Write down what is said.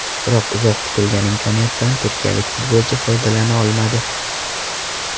Biroq uzoq kutilgan imkoniyatdan turkiyalik futbolchi foydalana olmadi.